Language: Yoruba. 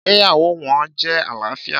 Ìgbéyàwó wọn jẹ́ àlàáfíà.